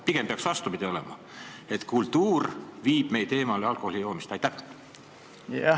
Pigem peaks vastupidi olema, et kultuur peaks meid alkoholijoomisest eemale viima.